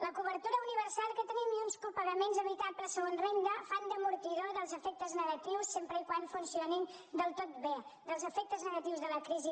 la cobertura universal que tenim i uns copagaments evitables segons renda fan d’amortidor dels efectes negatius sempre que funcionin del tot bé dels efectes negatius de la crisi